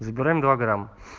забираем два грамма